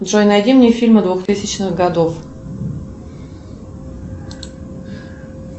джой найди мне фильмы двухтысячных годов